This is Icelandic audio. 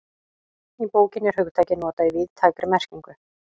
Í bókinni er hugtakið notað í víðtækri merkingu.